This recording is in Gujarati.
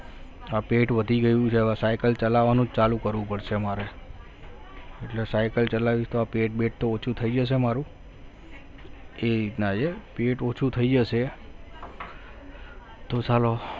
આ પેટ વધી ગયું છે હવે cycle ચલાવવાનું ચાલુ કરવું પડશે મારે એટલે ycle ચલાવી તો આ પેટ બેટ તો ઓછું થઈ જશે મારું એ રીત ના છે પેટ ઓછું થઈ જશે તો ચાલો